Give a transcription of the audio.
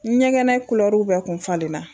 N ɲɛgɛnɛ kulɛruw bɛ kun falen na